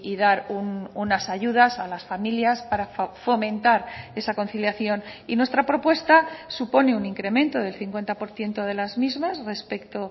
dar unas ayudas a las familias para fomentar esa conciliación y nuestra propuesta supone un incremento del cincuenta por ciento de las mismas respecto